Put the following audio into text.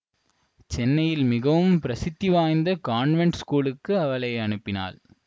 சென்னையில் மிகவும் பிரசித்தி வாய்ந்த கான்வெண்ட் ஸ்கூலுக்கு அவளை அனுப்பினாள்